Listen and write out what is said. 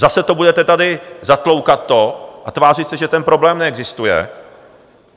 Zase to budete tady zatloukat a tvářit se, že ten problém neexistuje?